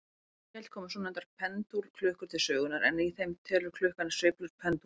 Á nýöld komu svonefndar pendúlklukkur til sögunnar, en í þeim telur klukkan sveiflur pendúls.